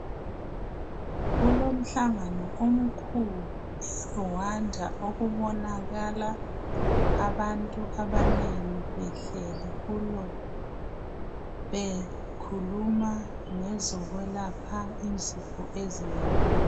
Kulomhlangano omkhulu eRwanda okubonakala abantu abanengi behleli kulo bekhuluma ngezokwelapha izifo ezinengi